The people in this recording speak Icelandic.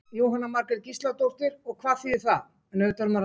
Jóhanna Margrét Gísladóttir: Og hvað þýðir það?